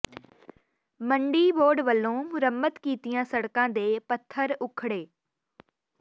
ਮੰਡੀ ਬੋਰਡ ਵੱਲੋਂ ਮੁਰੰਮਤ ਕੀਤੀਆਂ ਸੜਕਾਂ ਦੇ ਪੱਥਰ ਉਖੜੇ